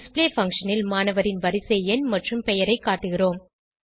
display function ல் மாணவரின் வரிசை எண் மற்றும் பெயரைக் காட்டுகிறோம்